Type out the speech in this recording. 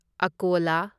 ꯑꯀꯣꯂꯥ